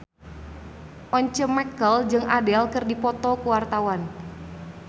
Once Mekel jeung Adele keur dipoto ku wartawan